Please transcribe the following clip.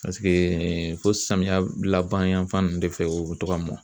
fo samiyɛ laban yanfan ninnu de fɛ u bɛ to ka mɔ